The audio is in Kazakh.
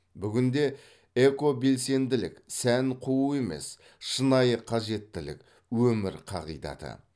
бүгінде экобелсенділік сән қуу емес шынайы қажеттілік өмір қағидаты